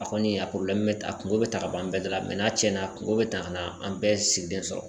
A kɔni a bɛ ta a kungo bɛ ta ka bɔ an bɛɛ da la n'a cɛnna kungo be ta ka na an bɛɛ sigilen sɔrɔ.